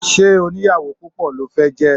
Ṣé onìyàwó púpọ̀ lo fẹ́ jẹ́?